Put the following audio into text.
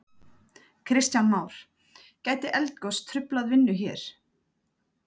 Kristján Már: Gæti eldgos truflað vinnu hér?